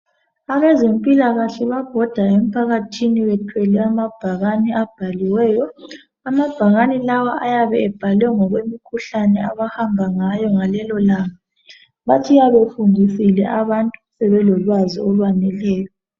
Abezempilakahle bayabhoda emphakathini. Bephethe amabhakane abhaliweyo. Amabhakane lawo ayabe ebhaliwe ngokwemikhuhlane abahamba ngayo ngalelolanga. Batshiya befundisile abantu, sebelolwazi olwaneleyo.